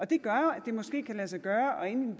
det gør jo at det måske kan lade sig gøre og ende